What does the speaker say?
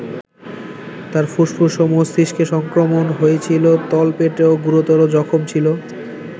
তাঁর ফুসফুস ও মস্তিষ্কে সংক্রমণ হয়েছিল, তলপেটেও গুরুতর জখম ছিল।